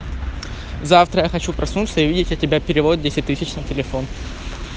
завтра я хочу проснуться и увидеть от тебя перевод десять тысяч на телефон